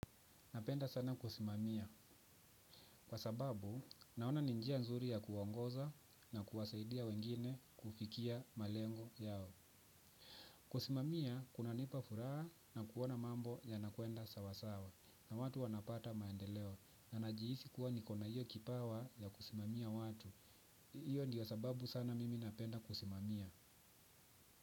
Napenda sana kusimamia. Kwa sababu, naona ni njia nzuri ya kuongoza na kuwasaidia wengine kufikia malengo yao. Kusimamia, kunanipa furaha na kuona mambo yanakwenda sawasawa na watu wanapata maendeleo na najihisi kuwa nikona iyo kipawa ya kusimamia watu. Iyo ndiyo sababu sana mimi napenda kusimamia.